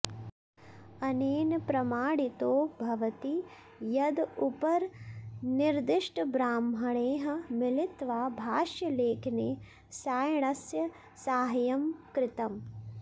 अनेन प्रमाणितो भवति यद् उपरिनिर्दिष्टब्राह्मणैः मिलित्वा भाष्यलेखने सायणस्य साहाय्यं कृतम्